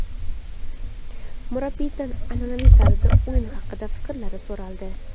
Murabbiydan an’anaviy tarzda o‘yin haqida fikrlari so‘raldi.